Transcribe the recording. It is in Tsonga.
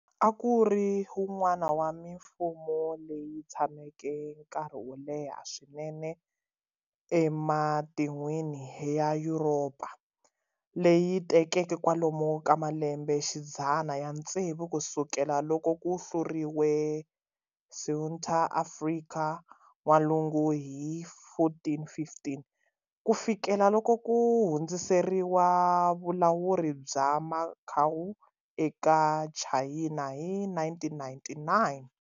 A ku ri wun'wana wa mimfumo leyi tshameke nkarhi wo leha swinene ematin'wini ya Yuropa, leyi tekeke kwalomu ka malembexidzana ya tsevu ku sukela loko ku hluriwe Ceuta eAfrika N'walungu hi 1415, ku fikela loko ku hundziseriwa vulawuri bya Macau eka Chayina hi 1999.